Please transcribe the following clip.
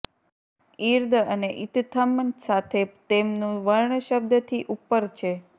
ઈર્દ અને ઈત્થં સાથે તેમનુ વર્ણ શબ્દથી ઉપર છે